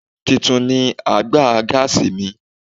Tuntun ni àgbà gáàsì mi.